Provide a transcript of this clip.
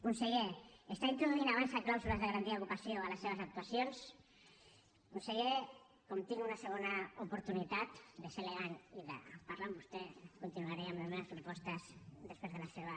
conseller està introduint avançsa clàusules de garantia d’ocupació a les seves actuacions conseller com tinc una segona oportunitat de ser elegant i de parlar amb vostè continuaré amb les meves propostes després de la seva